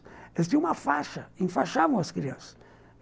Elas tinham uma faixa, enfaixavam as crianças.